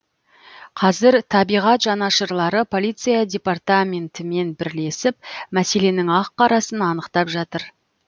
қазір табиғат жанашырлары полиция департаментімен бірлесіп мәселенің ақ қарасын анықтап жатыр